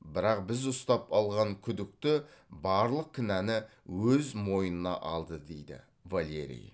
бірақ біз ұстап алған күдікті барлық кінәні өз мойнына алды дейді валерий